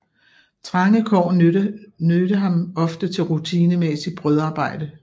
Trange kår nødte ham ofte til rutinemæssigt brødarbejde